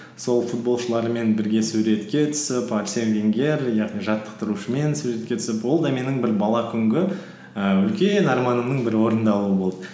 сол футболшылармен бірге суретке түсіп арсен венгер яғни жаттықтырушымен суретке түсіп ол да менің бір бала күнгі і үлкен арманымның бірі орындалуы болды